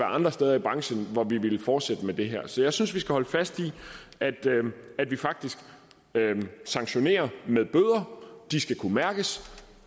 andre steder i branchen hvor de ville fortsætte med det her så jeg synes vi skal holde fast i at vi faktisk sanktionerer med bøder de skal kunne mærkes